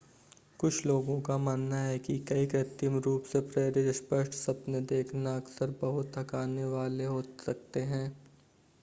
कुछ लोगों का मानना ​​है कि कई कृत्रिम रूप से प्रेरित स्पष्ट सपने देखना अक्सर बहुत थकाने वाले हो सकते हैं